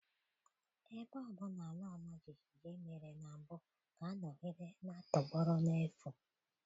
Ebe ọ bụla àlà ọma jijiji mèrè na mbụ ga-anọgide na-atọgbọrọ n'efu